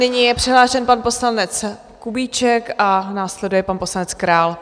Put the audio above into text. Nyní je přihlášen pan poslanec Kubíček a následuje pan poslanec Král.